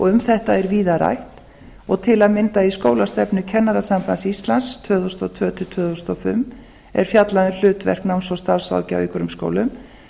um þetta er víða rætt og til að mynda í skólastefnu kennarasambands íslands tvö þúsund og tvö til tvö þúsund og fimm er fjallað um hlutverk starfs og námsráðgjafar í grunnskólum